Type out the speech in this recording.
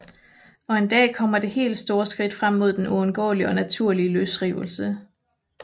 Og en dag kommer det helt store skridt frem mod den uundgåelige og naturlige løsrivelse